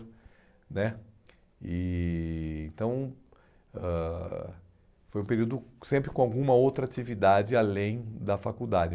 né e então, ãh foi um período sempre com alguma outra atividade além da faculdade.